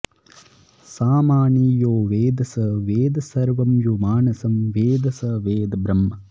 सामानि यो वेद स वेद सर्वं यो मानसं वेद स वेद ब्रह्म